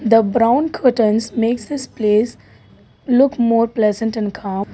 a brown curtains makes this place look more pleasant and calm.